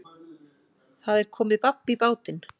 Það er komið babb í bátinn